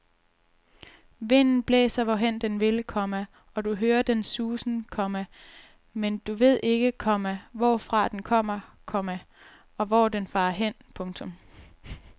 Vinden blæser hvorhen den vil, komma og du hører dens susen, komma men du ved ikke, komma hvorfra den kommer, komma og hvor den farer hen. punktum